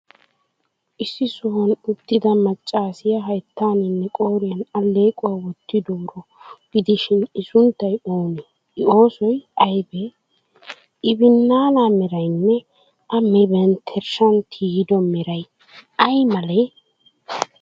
Issi sohuwan uttida maccaasiyaa hayttaaninne qooriyan alleequwa wottidaaro gidishin,I sunttay oonee, I oossoy aybee? I binnaanaa meraynne A bamenttershshaa tiyido meray ay malee?